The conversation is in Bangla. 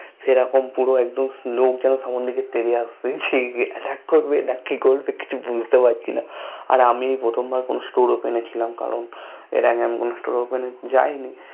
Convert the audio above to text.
সেরকম পুরো একদম লোক যেন সামনে দিকে তেড়ে আসছে সেই Atttack করবে না কি করবে কিছু বুঝতে পারছি না আর আমি এ প্রথমবার কোনো storeOpen এ ছিলাম এর আগে আমি কোনো StoreOpen এ যাইনি